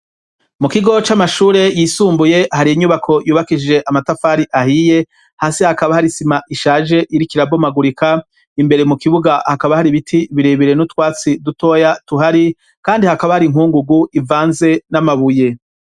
Mu kigo c'amashure yisumbuye hari inyubako yubakije amatafari ahiye hasi hakaba hari isima ishaje iriko irabomagurika imbere mu kibuga hakaba hari biti birebere n'utwatsi dutoya tuhari kandi hakaba hari inkungugu ivanze n'amabuye.